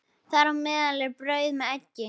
Þar á meðal er brauð með eggi.